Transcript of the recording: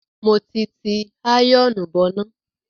Mo ti ti àyọ̀ọ̀nù bọná.